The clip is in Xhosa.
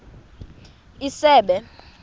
isebe